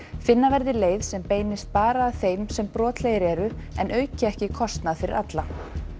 finna verði leið sem beinist bara að þeim sem brotlegir eru en auki ekki kostnað fyrir alla